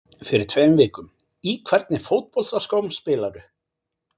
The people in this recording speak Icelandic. Fyrir tveim vikum Í hvernig fótboltaskóm spilarðu?